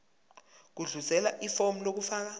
gudluzela ifomu lokufaka